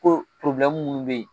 Ko minnu bɛ yen